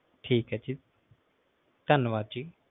ਧੰਨਵਾਦ ਜੀ